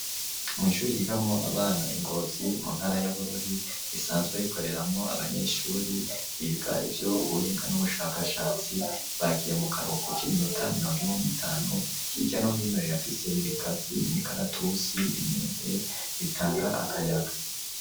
Mw'ishuri, ryigamwo abana, i Ngozi mu ntara ya Bururi, risanzwe rikoreramwo abanyeshuri, biga ivy'ubuhinga, n'ubushakashatsi; bagiye mu karuhuko, k'iminota mirongo ine n'itanu; hirya no hino, rirafise ibigazi, imikaratusi, imyembe, bitanga akayaga.